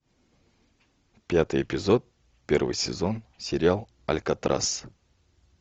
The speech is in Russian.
пятый эпизод первый сезон сериал алькатрас